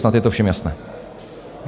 Snad je to všem jasné.